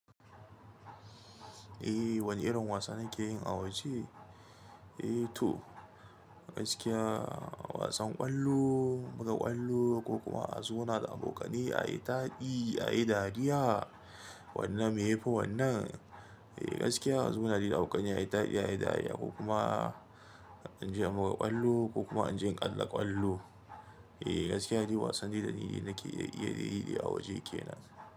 Eh wani irin wasa nake yi a waje? Eh to gaskiya wasan ƙwallo, muga ƙwallo ko kuma a zauna da abokanai ayi taɗi, ayi dariya wannan me yafi wannan. Eh gaskiya a zauna da abokanai ayi taɗi, ayi dariya ko kuma anje muga ƙwallo ko kuma anje ƙalla ƙwallo. Eh gaskiya shi wasanni da nake iya yi da a waje kenan.